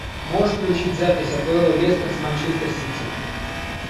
можешь включить запись апл лестер с манчестер сити